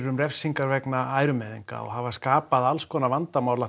um refsingar vegna ærumeiðinga og hafa skapað alls konar vandamál